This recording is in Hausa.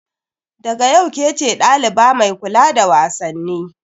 Daga yau kece daliba mai kula da wasanni.